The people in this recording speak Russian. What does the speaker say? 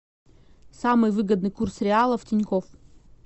самый выгодный курс реала в тинькофф